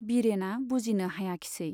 बिरेना बुजिनो हायाखिसै।